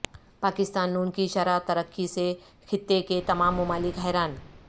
پاکستان ن کی شرح ترقی سے خطے کے تمام ممالک حیران